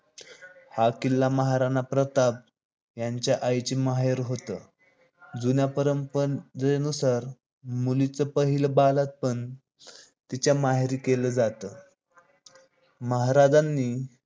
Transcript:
हा किल्ला महाराणा प्रताप यांच्या आईचे माहेर घर होतं. जुन्या परंपरेनुसार मुलीच पहिल बाळंतपण तिच्या माहेरी केलं जात. महाराजानी